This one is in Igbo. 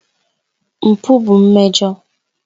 Mpụ bụ mmejọ.